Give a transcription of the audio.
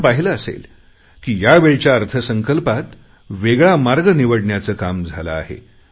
आपण पाहिले असेल की यावेळच्या अर्थसंकल्पात वेगळा मार्ग निवडण्याचे काम झाले आहे